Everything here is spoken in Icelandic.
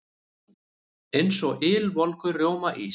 Eins og ylvolgur rjómaís.